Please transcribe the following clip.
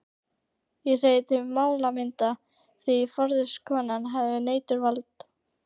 Ég segi til málamynda, því forstöðukonan hefur neitunarvald.